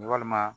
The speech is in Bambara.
Walima